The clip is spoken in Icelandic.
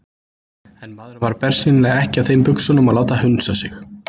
En maðurinn var bersýnilega ekki á þeim buxunum að láta hunsa sig.